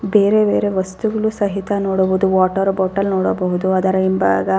ಬೇರೆ ಬೇರೆ ವಸ್ತುಗಳು ಸಹಿತ ನೋಡಬಹುದು ವಾಟೆರ್ ಬಾಟೆಲ್ ನೋಡಬಹುದು ಅದರ ಹಿಂಭಾಗ --